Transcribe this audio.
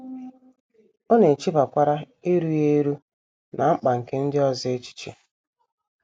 Ọ na - echebakwara erughị eru na mkpa nke ndị ọzọ echiche.